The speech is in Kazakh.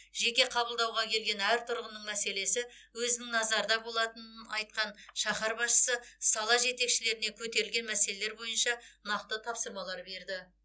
жеке қабылдауға келген әр тұрғынның мәселесі өзінің назарында болатынын айтқан шаһар басшысы сала жетекшілеріне көтерілген мәселелер бойынша нақты тапсырмалар берді